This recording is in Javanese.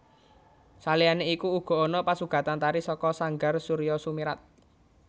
Saliyane iku uga ana pasugatan tari saka sanggar Soerjo Soemirat